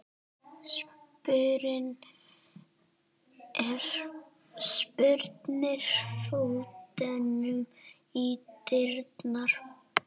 Spyrnir fótunum í dyrnar.